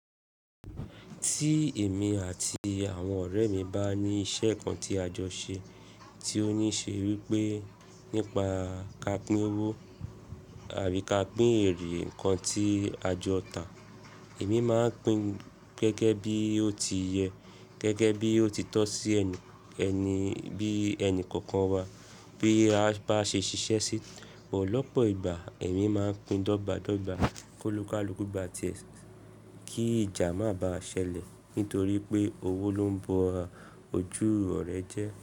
Tí èmi àti àwọn ọ̀rẹ́ mi bá ní iṣẹ́ kan tí a jọ ṣe, tí ó ní ṣe wí pé nípa ká pín owó àbí ká pín èrè nǹkan tí a jọ tà, èmi máa ń pín gẹ́gẹ́ bí ó ti yẹ, gẹ́gẹ́ bí ó ti tọ́ sí ẹni, ẹni bí ẹni kọ̀ọ̀kan wa. Bí a bá ṣe ṣiṣẹ́ sí, ọ̀pọ̀lọpọ̀ ìgbà èmi máa ń pín dọ́gba dọ́gba, kolukaluku gbá ti ẹ kí ìjà má ba ṣẹlẹ̀ nítorí pé owó ló ń b'ojú ọ̀rẹ́ jẹ́